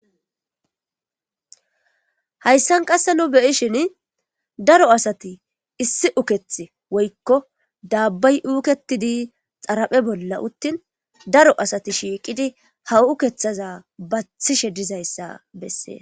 Hayssan qasse nu beyishin daro asati issi uketh woykko daabbay uuketidi xaraphe bolla uttin daro asati shiiqidi haw ukeththaza bathishe dizayssa bessee